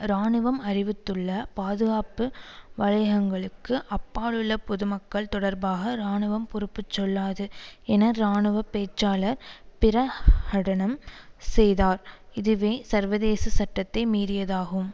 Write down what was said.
இராணுவம் அறிவித்துள்ள பாதுகாப்பு வலயங்களுக்கு அப்பால் உள்ள பொதுமக்கள் தொடர்பாக இராணுவம் பொறுப்புச்சொல்லாது என இராணுவ பேச்சாளர் பிரஹடனம் செய்தார் இதுவே சர்வதேச சட்டத்தை மீறியதாகும்